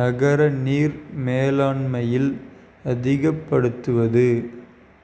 நகர நீர் மேலாண்மையில் அதிகப்படுத்துவது